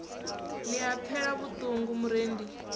ni a pfela vhuṱungu murendi